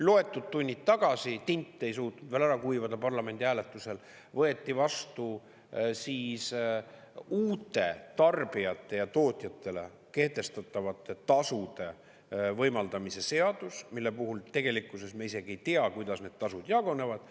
Loetud tunnid tagasi – tint ei suutnud veel ära kuivada parlamendi hääletusel – võeti vastu uute tarbijatele ja tootjatele kehtestatavate tasude võimaldamise seadus, mille puhul tegelikkuses me isegi ei tea, kuidas need tasud jagunevad.